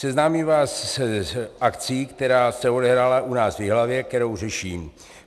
Seznámím vás s akcí, která se odehrála u nás v Jihlavě, kterou řeším.